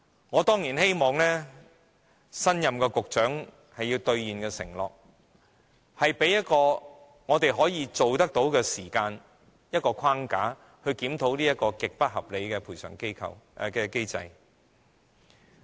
我當然希望新任的局長會兌現這項承諾，向我們提交可實行的時間表、框架，檢討這項極不合理的賠償機制。